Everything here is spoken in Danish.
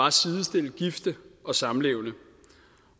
at sidestille gifte og samlevende